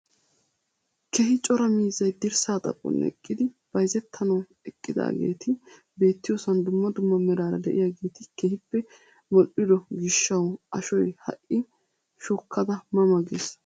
Keehi cora miizzay dirssaa xaphon eqqidi bayzettanawu eqqidaageti beettiyoosan dumma dumma meraara de'iyaageti keehippe modhdhigo giishshawu ashoy ha'i shukkada ma ma ges!